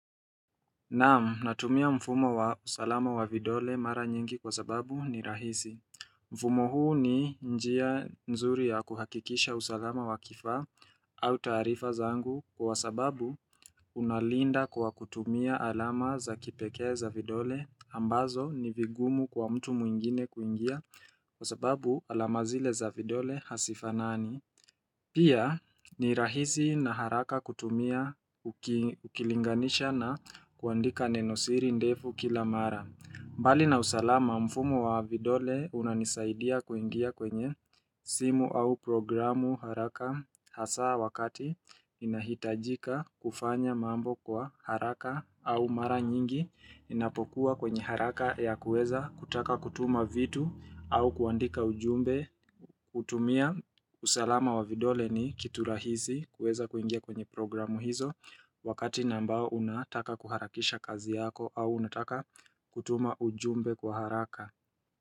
Naam natumia mfumo wa usalama wa vidole mara nyingi kwa sababu ni rahisi mfumo huu ni njia nzuri ya kuhakikisha usalama wa kifaa au taarifa zangu kwa sababu unalinda kwa kutumia alama za kipekee za vidole ambazo ni vingumu kwa mtu mwingine kuingia kwa sababu alama zile za vidole hazifanani Pia ni rahisi na haraka kutumia ukilinganisha na kuandika nenosiri ndefu kila mara. Bali na usalama mfumo wa vidole unanisaidia kuingia kwenye simu au programu haraka hasa wakati inahitajika kufanya mambo kwa haraka au mara nyingi inapokuwa kwenye haraka ya kuweza kutaka kutuma vitu au kuandika ujumbe kutumia. Usalama wa vidole ni kitu rahisi kuweza kuingia kwenye programu hizo wakati na ambao unataka kuharakisha kazi yako au unataka kutuma ujumbe kwa haraka.